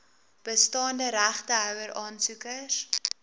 bestaande regtehouer aansoekers